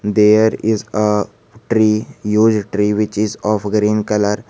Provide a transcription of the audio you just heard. there is a tree use tree which is of green colour.